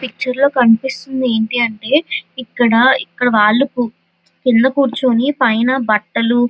picture లో కనిపెస్తునది ఎటి అంటే ఇక్కడ ఇక్కడి వాలు కింద కురుచొని పైనా బాటలు --